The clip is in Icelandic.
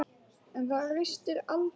En það ristir aldrei neitt djúpt.